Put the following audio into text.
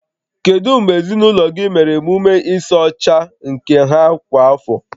Kedu mgbe ezinụlọ gị mere emume ịsa ọcha nke ha kwa afọ?